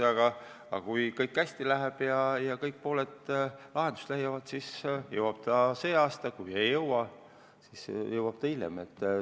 Aga kui kõik läheb hästi ja kõik probleemid lahenduse leiavad, siis jõuab ta see aasta siia, kui ei leita, siis jõuab ta hiljem.